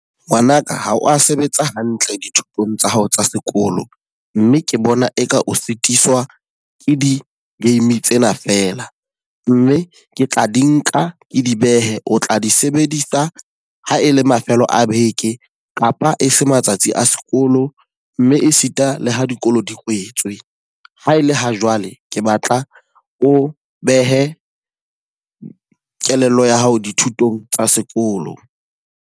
Ngwanaka, ha o a sebetsa hantle dithutong tsa hao tsa sekolo. Mme ke bona eka o fetiswa ke di-game tsena fela. Mme ke tla di nka ke di behe o tla di sebedisa ha e le mafelo a beke kapa e se matsatsi a sekolo, mme e sita le ho dikolo di kwetswe. Ha e le ha jwale, ke batla o behe kelello ya hao dithutong tsa sekolo.